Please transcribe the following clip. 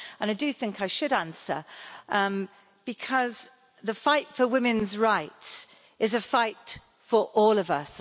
I do think I should answer, because the fight for women's rights is a fight for all of us.